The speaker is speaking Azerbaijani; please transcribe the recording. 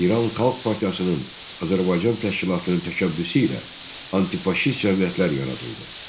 İran Xalq Partiyasının Azərbaycan təşkilatının təşəbbüsü ilə antifaşist cəmiyyətlər yaradıldı.